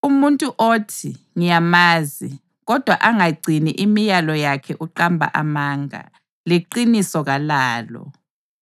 Umuntu othi, “Ngiyamazi,” kodwa angagcini imilayo yakhe uqamba amanga, leqiniso kalalo.